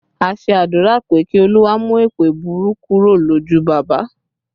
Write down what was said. A ṣe àdúrà pé Kí Olúwa mú èèpẹ̀ burú kúrò lójú bàbá